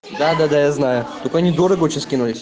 да-да-да я знаю так они дорого очень скинулись